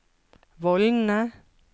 vollene